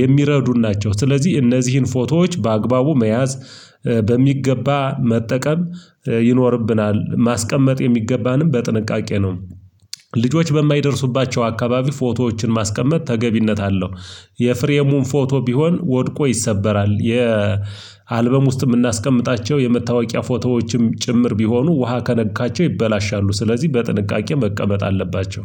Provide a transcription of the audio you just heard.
የሚረዱን ናቸው ስለዚህ እነዚህን ፎቶዎች በአግባቡ መያዝ በሚገባ መጠቀም ይኖርብናል ማስቀመጥ የሚገባንም በጥንቃቄ ነው ልጆች በማይደርሱባቸው አካባቢ ፎቶዎችን ማስቀመጥ ተገቢነት አለው የፍሬሙን ፎቶ ቢሆን ወድቆ ይሰበራል የ አልበም ውስጥ የምናስቀምጣቸው የመታወቂያ ፎቶዎችም ጭምር ቢሆኑ ውሃ ከነካቸው ይበላሻሉ ስለዚህ በጥንቃቄ መቀመጥ አለባቸው